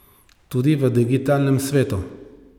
Tudi v digitalnem svetu.